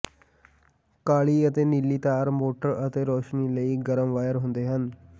ਕਾਲੀ ਅਤੇ ਨੀਲੀ ਤਾਰ ਮੋਟਰ ਅਤੇ ਰੌਸ਼ਨੀ ਲਈ ਗਰਮ ਵਾਇਰ ਹੁੰਦੇ ਹਨ